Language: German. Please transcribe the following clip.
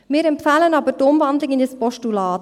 Wir empfehlen aber die Umwandlung in ein Postulat.